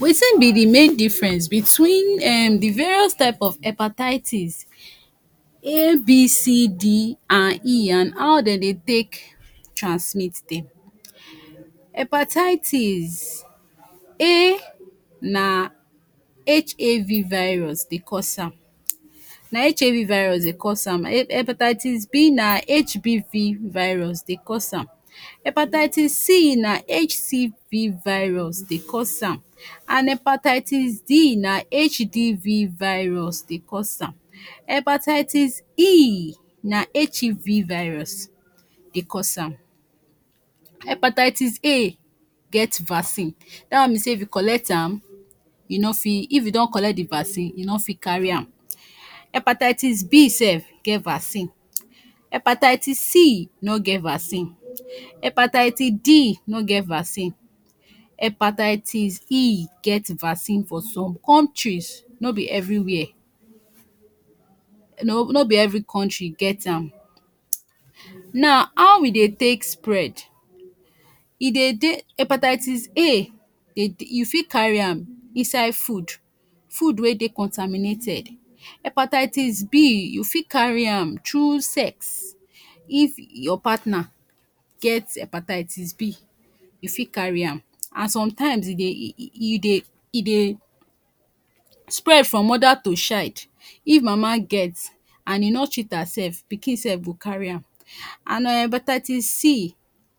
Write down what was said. Wetin be the main difference between um the various type of herpatitis a,b,c, d and e and ow den ne take transmit dem, herpatitis a na HAV virus Dey cause am, na HAV virus Dey cause am hepatitis b na HBV virus Dey cause am, hepatitis c na HCV virus Dey cause am, and hepatitis d na HDV virus Dey cause am, hepatitis e na HEV virus Dey cause am, Hepatitis a get vaccine, dat one be say if you collect am, u no fi, if u don collect the vaccine u no fi carry am, hepatitis b sef get vaccine, hepatitis c no get vaccine, hepatitis d no get vaccine, hepatitis e get vaccine for some countries, no be everywhere, no no be every country get am, na ow e Dey take spread, e Dey Dey, hepatitis a, e you fit carry am inside food wey Dey contaminated, hepatitis b u fit carry am through sex if your partner get hepatitis b u fit carry am and sometimes e e Dey spread from mother to shide, if mama get and e no treat herself, pikin sef fi carry am and um hepatitis c,